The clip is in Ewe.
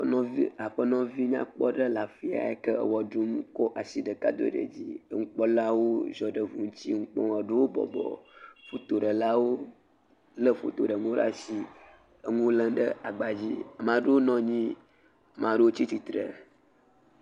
Aƒenɔvi nyakpɔ aɖe le afisia eyike ewɔ ɖum kɔ asi ɖeka do ɖe dzi. Nukplɔlawo zue ɖe gli ŋuti, eɖewo bɔbɔ henɔ nukpɔm. Foto ɖelawo le foto ɖe ŋu ɖe asi enuwo lem ɖe agba dzi. Ame aɖe nɔ anyi, ame aɖewo tsia tsitre